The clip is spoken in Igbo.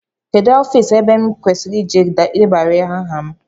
Kedụ ofiisi ebe m kwesịrị ịje debanye aha m?